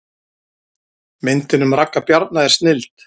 Myndin um Ragga Bjarna er snilld